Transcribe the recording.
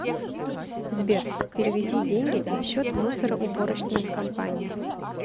сбер переведи деньги на счет мусороуборочной компании